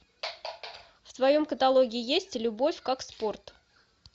в твоем каталоге есть любовь как спорт